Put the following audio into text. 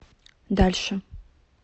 дальше